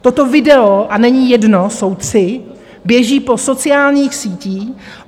Toto video a není jedno, jsou tři, běží po sociálních sítích.